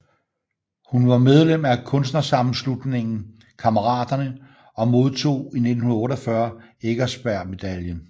Hun var medlem af Kunstnersammenslutningen Kammeraterne og modtog i 1948 Eckersberg Medaillen